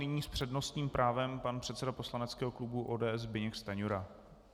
Nyní s přednostním právem pan předseda poslaneckého klubu ODS Zbyněk Stanjura.